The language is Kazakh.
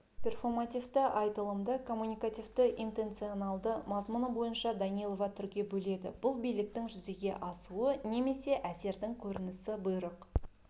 перфомативті айтылымды коммуникативті-интенционалды мазмұны бойынша данилова түрге бөледі бұл биліктің жүзеге асуы немесе әсердің көрінісі бұйрық